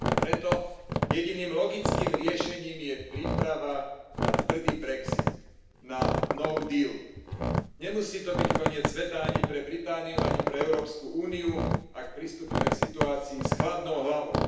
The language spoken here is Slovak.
A preto je jediným logickým riešením príprava na tvrdý brexit, na No deal Nemusí to byť koniec sveta ani pre Britániu, ani pre Európsku úniu, ak pristúpime k situácii s chladnou hlavou.